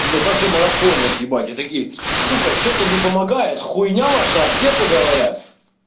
но также марафоне отъебать я такие сука что то не помогает хуйня ваша аптека говорят